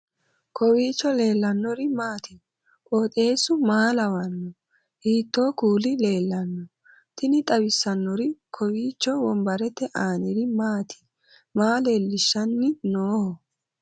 kowiicho leellannori maati ? qooxeessu maa lawaanno ? hiitoo kuuli leellanno ? tini xawissannori kowiicho wombarete aaniri maati maa leellishshanni nooho